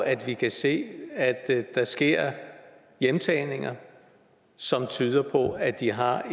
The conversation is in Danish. at vi kan se at der sker hjemtagninger som tyder på at de har